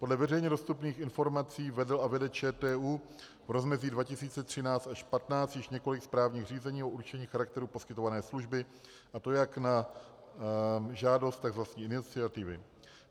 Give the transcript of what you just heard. Podle veřejně dostupných informací vedl a vede ČTÚ v rozmezí 2013 až 2015 již několik správních řízení o určení charakteru poskytované služby, a to jak na žádost, tak z vlastní iniciativy.